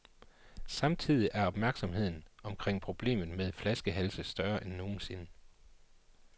Samtidig er opmærksomheden omkring problemet med flaskehalse større end nogensinde.